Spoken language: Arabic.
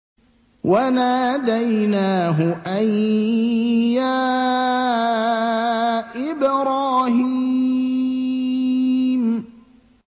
وَنَادَيْنَاهُ أَن يَا إِبْرَاهِيمُ